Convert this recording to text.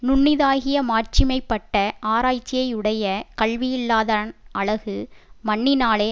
நுண்ணிதாகிய மாட்சிமை பட்ட ஆராய்ச்சியையுடைய கல்வியில்லாதான் அழகு மண்ணினாலே